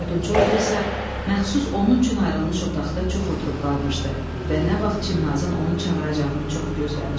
Odunçu oğlu isə məxsus onun üçün ayrılmış otaqda çox oturub qalmışdı və nə vaxt Çimnazın onu çağıracağını çox gözləmişdi.